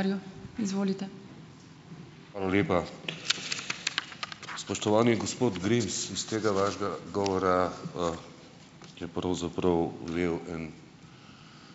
Hvala lepa. Spoštovani gospod Grims, iz tega vašega govora, je pravzaprav vel en